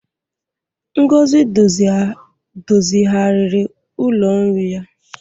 Ngozi dozigharịrị ụlọ nri ya.